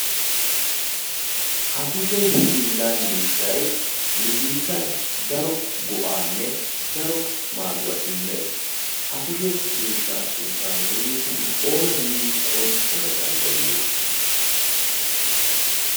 ha kushe hilla miishshai nu biittan daro go'aanne daro maaduwaa immees. ha kushe miishshaa sunttan nuuni oona giidi qonccissana danddayiyo?